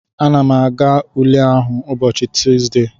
Ana m aga ule ahụ ụbọchị Tusdee a